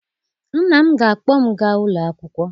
Nna m ga-akpọ m gaa ụlọ akwụkwọ.